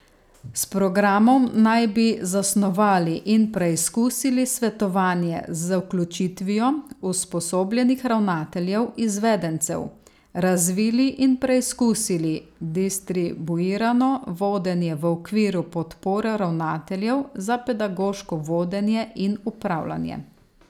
S programom naj bi zasnovali in preizkusili svetovanje z vključitvijo usposobljenih ravnateljev izvedencev, razvili in preizkusili distribuirano vodenje v okviru podpore ravnateljev za pedagoško vodenje in upravljanje.